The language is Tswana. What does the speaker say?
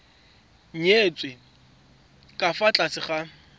nyetswe ka fa tlase ga